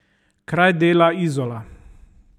Kraj dela Izola.